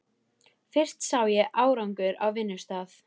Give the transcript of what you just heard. Fyrst sá ég árangur á vinnustað.